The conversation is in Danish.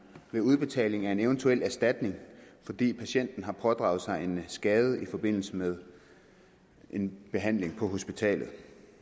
ved udbetalingen af en eventuel erstatning fordi patienten har pådraget sig en skade i forbindelse med en behandling på hospitalet vi